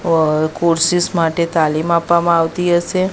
Courses માટે તાલીમ આપવામાં આવતી હશે.